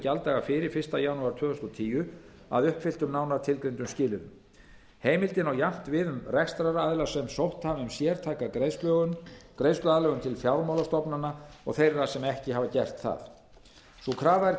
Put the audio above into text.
gjalddaga fyrir fyrsta janúar tvö þúsund og tíu að uppfylltum nánar tilgreindum skilyrðum heimildin á jafnt við um rekstraraðila sem sótt hafa um sértæka greiðsluaðlögun til fjármálastofnana og þeirra sem ekki hafa gert það sú krafa er